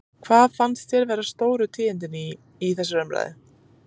Hvað fannst þér vera stóru tíðindin í, í þessari ræðu?